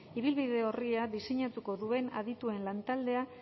ibilbide orria diseinatuko duen adituen lantaldea